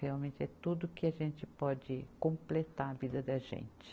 Realmente é tudo que a gente pode completar a vida da gente.